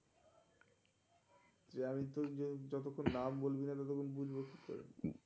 যে আমি তর যতক্ষণ নাম বলবিনা. ততক্ষণ বুঝবো কি করে?